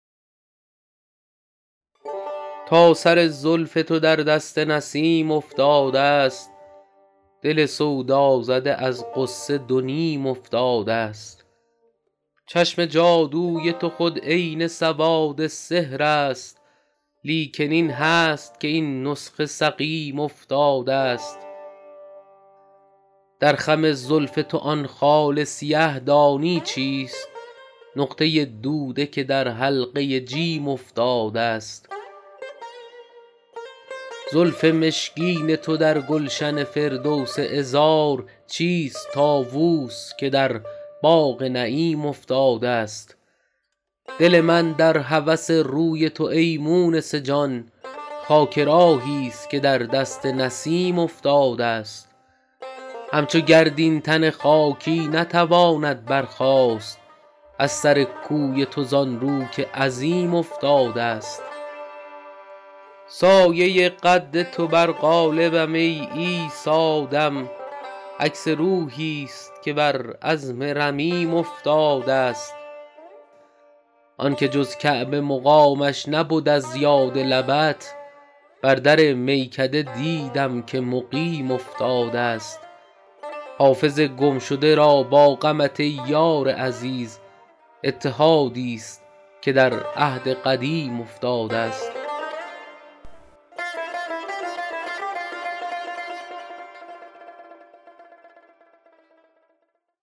تا سر زلف تو در دست نسیم افتادست دل سودازده از غصه دو نیم افتادست چشم جادوی تو خود عین سواد سحر است لیکن این هست که این نسخه سقیم افتادست در خم زلف تو آن خال سیه دانی چیست نقطه دوده که در حلقه جیم افتادست زلف مشکین تو در گلشن فردوس عذار چیست طاووس که در باغ نعیم افتادست دل من در هوس روی تو ای مونس جان خاک راهیست که در دست نسیم افتادست همچو گرد این تن خاکی نتواند برخاست از سر کوی تو زان رو که عظیم افتادست سایه قد تو بر قالبم ای عیسی دم عکس روحیست که بر عظم رمیم افتادست آن که جز کعبه مقامش نبد از یاد لبت بر در میکده دیدم که مقیم افتادست حافظ گمشده را با غمت ای یار عزیز اتحادیست که در عهد قدیم افتادست